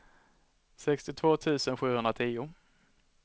sextiotvå tusen sjuhundratio